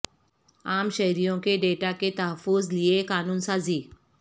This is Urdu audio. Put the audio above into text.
عام شہریوں کے ڈیٹا کے تحفظ لیے قانون سازی